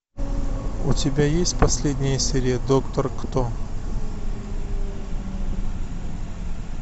у тебя есть последняя серия доктор кто